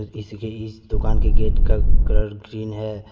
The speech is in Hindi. इस दुकान के गेट का कलर ग्रीन है।